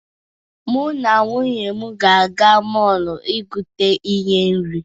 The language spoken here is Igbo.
Mụ na nwunye ga-aga mọọlụ igote ihe nri.